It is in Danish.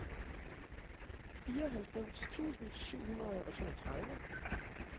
fireoghalvfems tusind syv hundrede og toogtredive